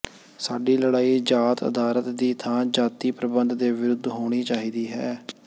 ਸਾਡੀ ਲੜਾਈ ਜਾਤ ਅਧਾਰਤ ਦੀ ਥਾਂ ਜਾਤੀ ਪ੍ਰਬੰਧ ਦੇ ਵਿਰੁੱਧ ਹੋਣੀ ਚਾਹੀਦੀ ਹੈ